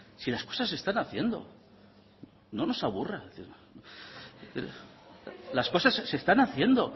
si las cosas se están haciendo no nos aburra las cosas se están haciendo